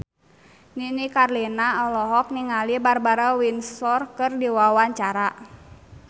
Nini Carlina olohok ningali Barbara Windsor keur diwawancara